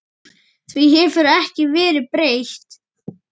Því hefur ekki verið breytt.